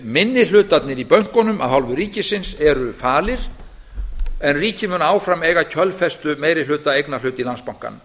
minni hlutarnir í bönkunum af hálfu ríkisins eru falir en ríkið mun áfram eiga kjölfestu meiri hluta eignarhluta í landsbankanum